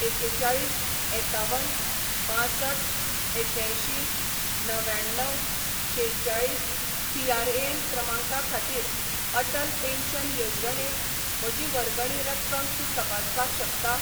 एकेचाळीस एकावन बांसठ एक्यांयशीं णव्याण्णव शेचाळीस पीआरएएन क्रमांका खातीर अटल पेन्शन येवजणेंत म्हजी वर्गणी रक्कम तूं तपासपाक शकता?